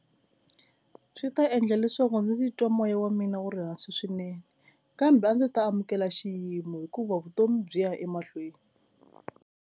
Swi ta endla leswaku ndzi titwa moya wa mina wu ri hansi swinene kambe a ndzi ta amukela xiyimo hikuva vutomi byi ya emahlweni.